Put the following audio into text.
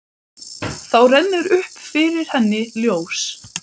Þá rennur upp fyrir henni ljós.